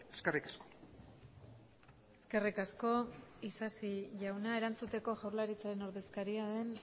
eskerrik asko eskerrik asko isasi jauna erantzuteko jaurlaritzaren ordezkaria den